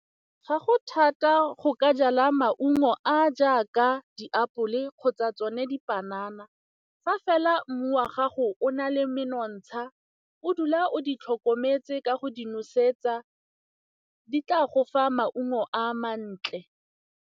Ga go thata go ka jala maungo a a jaaka diapole kgotsa tsone dipanana fa fela mmu wa gago o na le menontsha, o dula o di tlhokometse ka go di nosetsa, di tla go fa maungo a mantle.